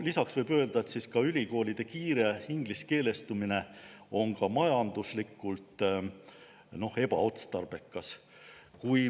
Lisaks võib öelda, et ülikoolide kiire ingliskeelestumine on ka majanduslikult ebaotstarbekas.